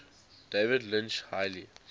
david lynch's highly